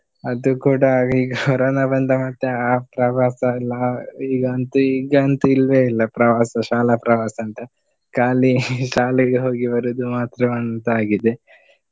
ಅದು ಕೂಡ ಈ ಕೊರೋನ ಬಂದ ಮತ್ತೆ ಆ ಪ್ರವಾಸ ಎಲ್ಲ ಈಗಂತು ಈಗಂತೂ ಇಲ್ವೇ ಇಲ್ಲ ಪ್ರವಾಸ ಶಾಲಾ ಪ್ರವಾಸ ಅಂತ. ಖಾಲಿ ಶಾಲೆಗೇ ಹೋಗಿ ಬರುದು ಮಾತ್ರವಂತ ಆಗಿದೆ.